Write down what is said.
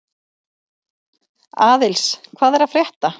Aðils, hvað er að frétta?